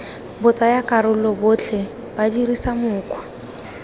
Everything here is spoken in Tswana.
batsayakarolo botlhe ba dirisa mokgwa